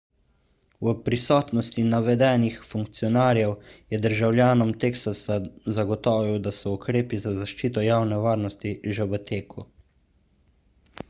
v prisotnosti navedenih funkcionarjev je državljanom teksasa zagotovil da so ukrepi za zaščito javne varnosti že v teku